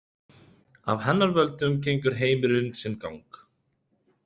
Af hennar völdum gengur heimurinn sinn gang.